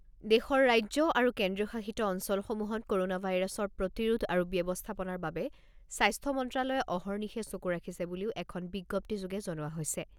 দেশৰ ৰাজ্য আৰু কেন্দ্ৰীয়শাসিত অঞ্চলসমূহত ক'ৰোনা ভাইৰাছৰ প্ৰতিৰোধ আৰু ব্যৱস্থাপনাৰ বাবে স্বাস্থ্য মন্ত্ৰালয়ে অহৰ্নিশে চকু ৰাখিছে বুলিও এখন বিজ্ঞপ্তিযোগে জনোৱা হৈছে।